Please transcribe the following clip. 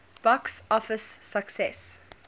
box office success